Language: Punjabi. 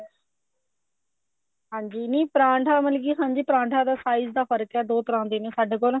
ਹਾਂਜੀ ਨਹੀਂ ਪਰਾਂਠਾ ਮਤਲਬ ਕਿ ਹਾਂਜੀ ਪਰਾਂਠਾ ਦਾ size ਦਾ ਫਰਕ਼ ਐ ਦੋ ਤਰ੍ਹਾਂ ਦੇ ਨੇ ਸਾਡੇ ਕੋਲ